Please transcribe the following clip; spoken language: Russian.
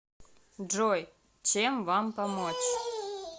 джой чем вам помочь